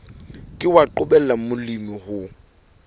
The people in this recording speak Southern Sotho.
ke wa qobella molemi ho